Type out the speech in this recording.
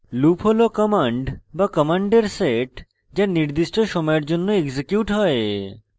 loop হল command বা command set যা নির্দিষ্ট সময়ের জন্য এক্সিকিউট হয়